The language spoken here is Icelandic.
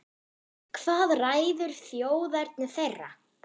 Hvað ræður þjóðerni þeirra?